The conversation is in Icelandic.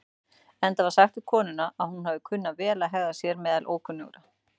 Enda var sagt um konuna að hún hafi kunnað vel að hegða sér meðal ókunnugra.